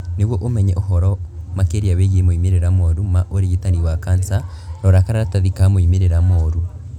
Nĩguo ũmenye ũhoro makĩria wĩgiĩ moimĩrĩra moru ma ũrigitani wa kanca, rora karatathi ka moimĩrĩra moru.